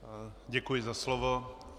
Děkuji za slovo.